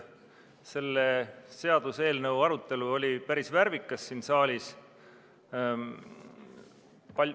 Selle seaduseelnõu arutelu siin saalis oli päris värvikas.